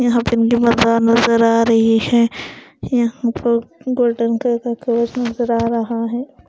यहाँ मकान नज़र आ रही है यहाँ पर गोल्डन कलर का कवच नज़र आ रहा है।